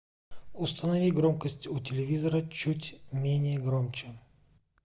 установи громкость у телевизора чуть менее громче